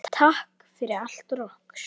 Takk fyrir allt og okkur.